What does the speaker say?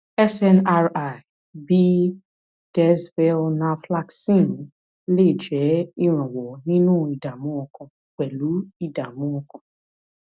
snri bíi desvelnaflaxcine lè jẹ́ ìrànwọ́ nínú ìdààmú ọkàn pẹlú ìdààmú ọkàn